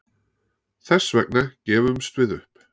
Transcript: Þess vegna gefumst við upp